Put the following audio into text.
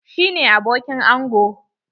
Shi ne abokin ango.